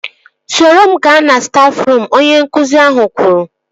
Soro m gaa na stafruum! Onye nkụzi ahụ kwuru